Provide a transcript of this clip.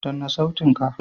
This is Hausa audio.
Danna sautin ka!